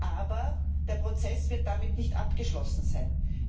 Aber der Prozess wird damit nicht abgeschlossen sein.